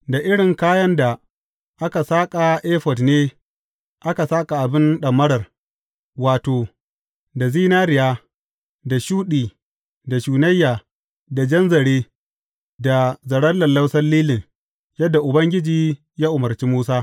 Da irin kayan da aka saƙa efod ne aka saƙa abin ɗamarar, wato, da zinariya, da shuɗi, da shunayya, da jan zare, da zaren lallausan lilin, yadda Ubangiji ya umarci Musa.